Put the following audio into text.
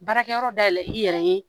Baarakɛyɔrɔ dayɛlɛ i yɛrɛ ye